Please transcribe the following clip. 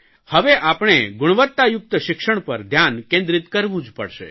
હવે આપણે ગુણવત્તાયુક્ત શિક્ષણ પર ધ્યાન કેન્દ્રીય કરવું જ પડશે